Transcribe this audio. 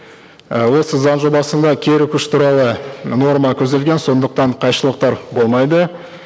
і осы заң жобасында кері күш туралы норма көзделген сондықтан қайшылықтар болмайды